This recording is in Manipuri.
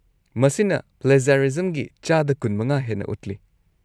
-ꯃꯁꯤꯅ ꯄ꯭ꯂꯦꯖ꯭ꯌꯥꯔꯤꯖꯝꯒꯤ ꯆꯥꯗ ꯲꯵ ꯍꯦꯟꯅ ꯎꯠꯂꯤ꯫